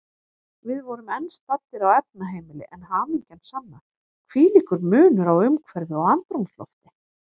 Við vorum enn staddir á efnaheimili, en hamingjan sanna, hvílíkur munur á umhverfi og andrúmslofti.